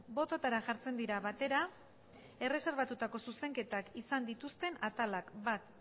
bototara jartzen dira batera erreserbatutako zuzenketak izan dituzten atalak bat